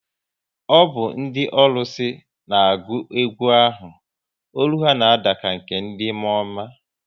Ọ bụ ndị ọlụsị n'agu egwu ahụ, ọlụ ha na ada ka nke ndị mụọọma